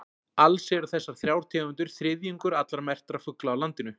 Alls eru þessar þrjár tegundir þriðjungur allra merktra fugla á landinu.